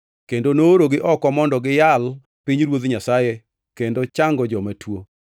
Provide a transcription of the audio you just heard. kendo noorogi oko mondo giyal pinyruoth Nyasaye kendo chango joma tuo.